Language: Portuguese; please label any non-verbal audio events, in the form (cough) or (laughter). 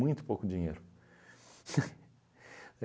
pouco dinheiro. (laughs)